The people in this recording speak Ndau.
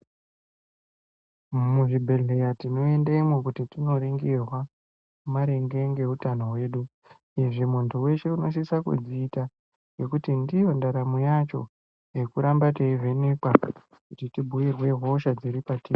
Muzvibhehleya tinoendemwo kuti tinoringirwa maringe ngeutano rwedu izvi muntu weshe unosisa kuzviita ngekuti ndiyo ndaramo yacho yekuramba teivhenekwa kuti tibhiirwe hosha dziri patiri.